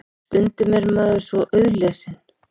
Stundum er maður svo auðlesinn.